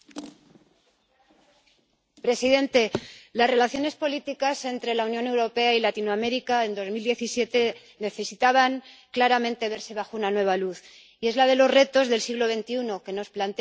Señor presidente, las relaciones políticas entre la Unión Europea y Latinoamérica en 2017 necesitaban claramente verse bajo una nueva luz la de los retos del siglo XXI que nos plantean dos socios